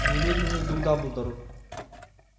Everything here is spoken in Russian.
немедленно иду к дамблдору